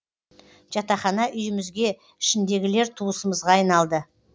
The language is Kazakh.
жатақхана үйімізге ішіндегілер туысымызға айналды